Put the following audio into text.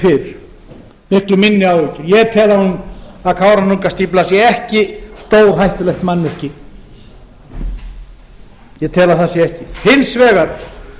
en kannski fyrr ég tel að kárahnjúkastífla sé ekki stórhættulegt mannvirki ég tel að það sé ekki hins vegar